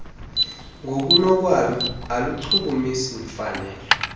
ngokunokwalo aluchukumisi mfanelo